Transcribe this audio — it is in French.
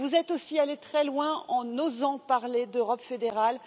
Vous êtes aussi allé très loin en osant parler d'Europe fédérale